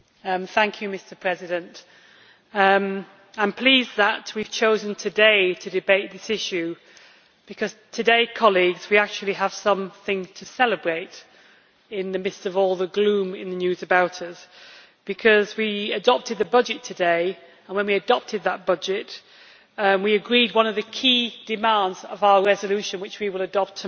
Mr President, I am pleased that we have chosen today to debate this issue because today, colleagues, we actually have something to celebrate in the midst of all the gloom in the news about us. We adopted the budget today, and when we adopted that budget we agreed one of the key demands of our resolution which we will adopt tomorrow,